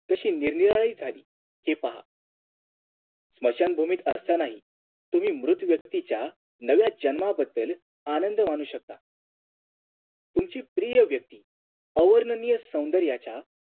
कशी निरनिराळी झाली हे पहा स्मशानभूमीत असतानाही तुम्ही मृत व्यक्तीच्या जन्माबद्दल तुम्ही आनंद मानू शकता तुमची प्रिय व्यक्ती अवर्णनीय सौन्दर्याच्या